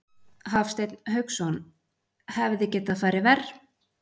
Hafsteinn Hauksson: Hefði getað farið verr?